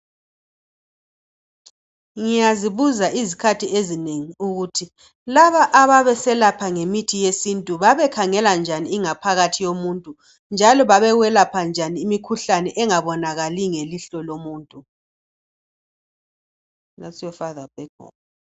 Ngiyazibuza izikhathi ezinengi ukuthi laba ababeselapha ngemithi yesintu babekhangela njani ingaphakathi yomuntu njalo babeselapha njani imikhuhlane engabonakaliyo ngelihlo lomuntu